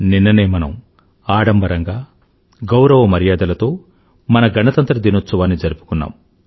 నిన్ననే మనం ఆడంబరంగా గౌరవ మర్యాదలతో మన గణతంత్ర దినోత్సవాన్ని జరుపుకున్నాం